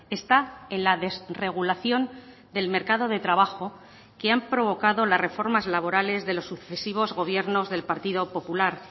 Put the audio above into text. está en la desregulación del mercado de trabajo que han provocado las reformas laborales de los sucesivos gobiernos del partido popular